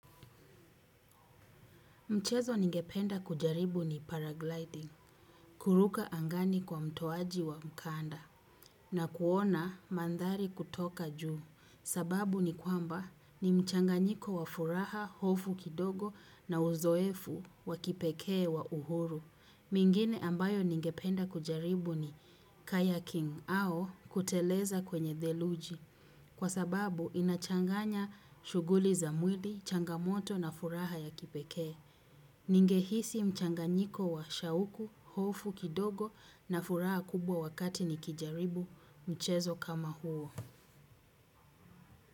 Michezo ningependa kujaribu ni paragliding kuruka angani kwa mtoaji wa mkanda na kuona mandhari kutoka juu sababu ni kwamba ni mchanganyiko wa furaha hofu kidogo na uzoefu wa kipeke wa uhuru. Mingine ambayo ningependa kujaribu ni kayaking au kuteleza kwenye theluji, kwa sababu inachanganya shughuli za mwili, changamoto na furaha ya kipekee. Ninge hisi mchanganyiko wa shauku, hofu kidogo na furaha kubwa wakati ni kijaribu mchezo kama huo.